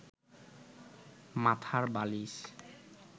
মাথার বালিশ